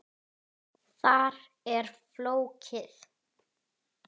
Þar er fólkið.